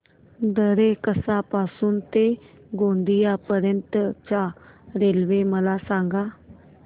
दरेकसा पासून ते गोंदिया पर्यंत च्या रेल्वे मला सांगा